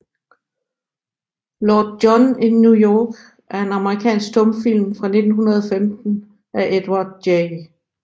Lord John in New York er en amerikansk stumfilm fra 1915 af Edward J